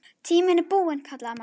Tíminn er búinn kallaði Magga.